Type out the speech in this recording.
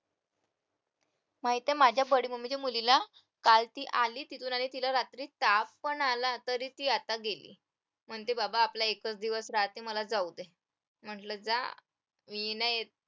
माहितीये माझ्या mummy च्या मुलीला काल ती आली तिथून आणि तिला रात्री ताप पण आला तरी ती आता गेली म्हणते बाबा आपला एकच दिवस राहते मला जाऊ दे म्हटलं जा मी नाही येत